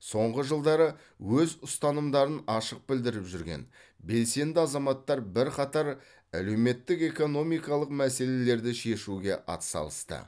соңғы жылдары өз ұстанымдарын ашық білдіріп жүрген белсенді азаматтар бірқатар әлеуметтік экономикалық мәселелерді шешуге атсалысты